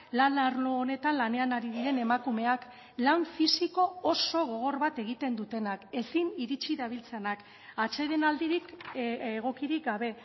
lan arlo honetan lanean ari diren emakumeak lan fisiko oso gogor bat egiten dutenak ezin iritsi dabiltzanak atsedenaldirik egokirik gabe